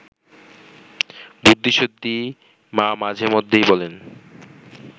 বুদ্ধিসুদ্ধি মা মাঝে মধ্যেই বলেন